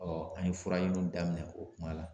an ye furaɲiniw daminɛ o kuma la.